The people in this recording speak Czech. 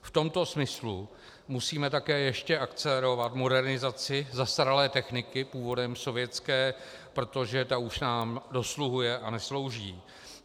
V tomto smyslu musíme také ještě akcelerovat modernizaci zastaralé techniky, původem sovětské, protože ta už nám dosluhuje a neslouží.